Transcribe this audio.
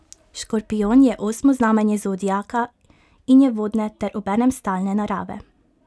Škorpijon je osmo znamenje zodiaka in je vodne ter obenem stalne narave.